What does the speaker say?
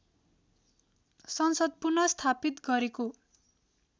संसद पुनर्स्थापित गरेको